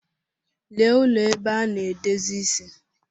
Lee ụlọ ebe ana-edozi isi.